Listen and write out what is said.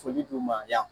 Foli duguma yan